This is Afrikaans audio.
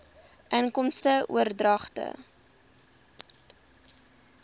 inkomste oordragte